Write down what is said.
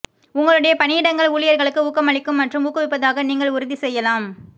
உங்களுடைய பணியிடங்கள் ஊழியர்களுக்கு ஊக்கமளிக்கும் மற்றும் ஊக்குவிப்பதாக நீங்கள் உறுதி செய்யலாம்